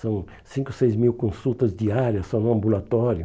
São cinco, seis mil consultas diárias, só no ambulatório.